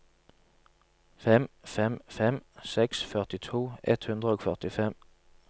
fem fem fem seks førtito ett hundre og førtifem